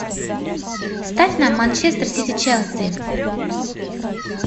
ставь нам манчестер сити челси